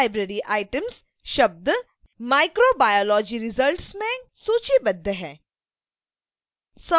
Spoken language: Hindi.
सभी library items शब्द microbiology रिजल्ट्स में सूचीबद्ध है